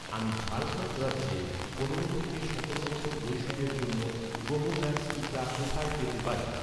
আমি ঝাড়খণ্ড রাজ্যে, পনেরো থেকে সতেরো বছর বয়সিদের জন্য, কোভোভ্যাক্স টিকা কোথায় পেতে পারি?